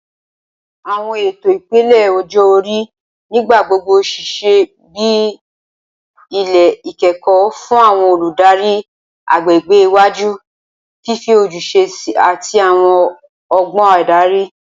Awọn eto ipele ọjọ-ori nigbagbogbo ṣiṣẹ bi ilẹ ikẹkọ fun awọn oludari agbegbe iwaju, fifi ojuse ati awọn ọgbọn adari